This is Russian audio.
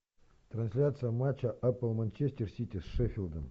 трансляция матча апл манчестер сити с шеффилдом